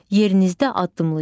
Yerinizdə addımlayın.